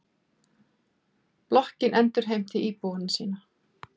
Blokkin endurheimtir íbúa sína.